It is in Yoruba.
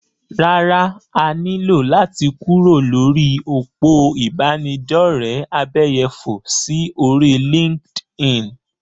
Rárá, a ní lò láti kúrò lórí òpó ìbánidọ́rẹ̀ abẹ́yẹfò sí orí LinkedIn.